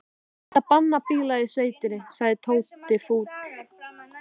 Það ætti að banna bíla í sveitinni sagði Tóti fúll.